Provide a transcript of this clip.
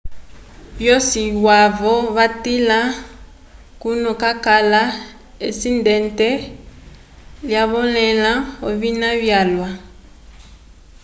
vosi yavo vatila kuna kwakala esindente lyanyolẽha ovina vyalwa